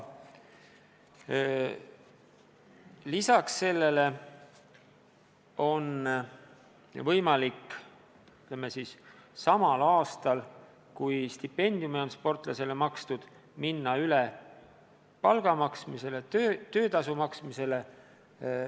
Lisaks on võimalik, ütleme, samal aastal, kui stipendiumi on sportlasele makstud, minna üle palga maksmisele, töötasu maksmisele.